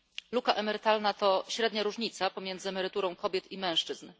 Luka emerytalna to średnia różnica pomiędzy emeryturą kobiet i mężczyzn.